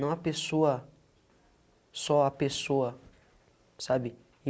Não a pessoa, só a pessoa, sabe?